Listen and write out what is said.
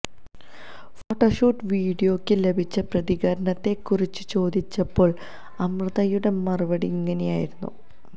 photoshoot വിഡിയോയ്ക്ക് ലഭിച്ച പ്രതികരണത്തെ കുറിച്ച് ചോദിച്ചപ്പോൾ അമൃതയുടെ മറുപടി ഇങ്ങനെയായിരുന്നു